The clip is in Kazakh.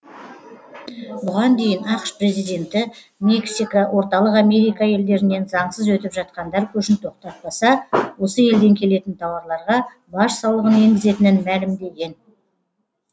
бұған дейін ақш президенті мексика орталық америка елдерінен заңсыз өтіп жатқандар көшін тоқтатпаса осы елден келетін тауарларға баж салығын енгізетінін мәлімдеген